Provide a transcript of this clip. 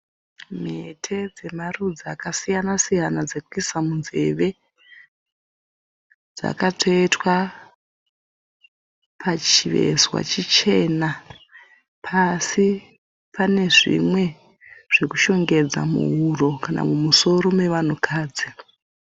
Mhete dzemarudzi akasiyana siyana dzekuisa munzeve dzakatsvetwa pachivezwa chichena. Pasi pane zvimwe zvekushongedza muhuro kana mumusoro mevanhukadzi.